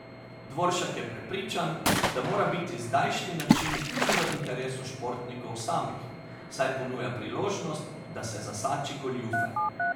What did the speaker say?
Dvoršak je prepričan, da mora biti zdajšnji način tudi v interesu športnikov samih, saj ponuja priložnost, da se zasači goljufe.